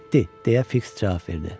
Getdi, deyə Fiks cavab verdi.